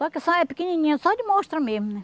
Só que só é pequenininha, só de mostra mesmo, né?